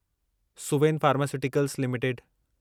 Suven pharmaceuticals limited